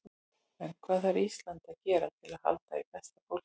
En hvað þarf Ísland að gera til að halda í besta fólkið?